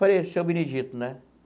Falei, seu Benedito, né?